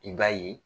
I b'a ye